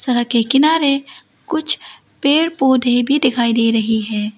घर के किनारे कुछ पेड़ पौधे भी दिखाई दे रही है।